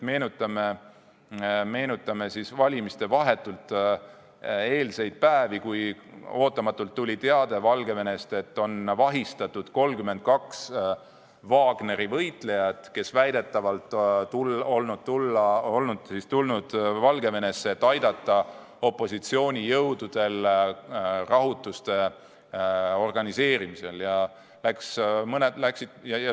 Meenutame vahetult valimistele eelnenud päevi, kui ootamatult tuli Valgevenest teade, et on vahistatud 32 Wagneri võitlejat, kes väidetavalt olevat tulnud Valgevenesse, et aidata opositsioonijõududel rahutusi organiseerida.